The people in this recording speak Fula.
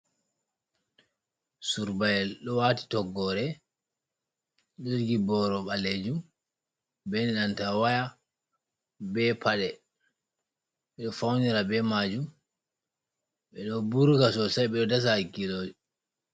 Surbayel ɗo wati toggore, ɗo jogi boro ɓalejum benanta waya be paɗe, ɓe fawnira be majum ɓeɗo burga sosai ɓeɗo dasa hakkiloji.